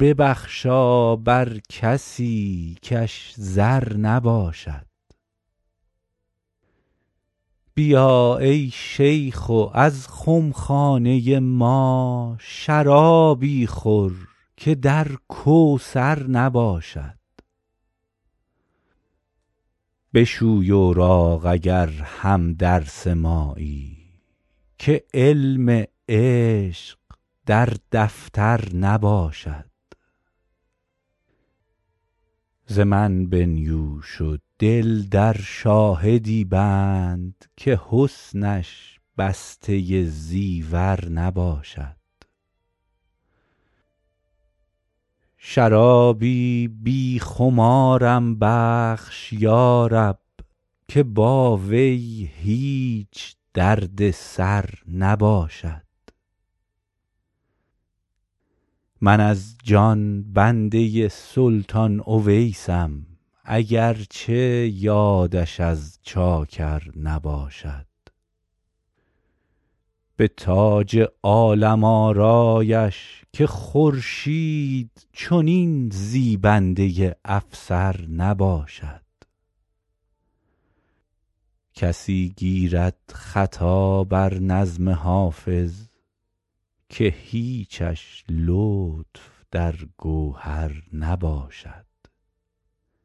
ببخشا بر کسی کش زر نباشد بیا ای شیخ و از خم خانه ما شرابی خور که در کوثر نباشد بشوی اوراق اگر هم درس مایی که علم عشق در دفتر نباشد ز من بنیوش و دل در شاهدی بند که حسنش بسته زیور نباشد شرابی بی خمارم بخش یا رب که با وی هیچ درد سر نباشد من از جان بنده سلطان اویسم اگر چه یادش از چاکر نباشد به تاج عالم آرایش که خورشید چنین زیبنده افسر نباشد کسی گیرد خطا بر نظم حافظ که هیچش لطف در گوهر نباشد